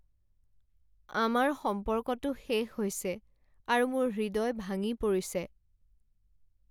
আমাৰ সম্পৰ্কটো শেষ হৈছে আৰু মোৰ হৃদয় ভাঙি পৰিছে।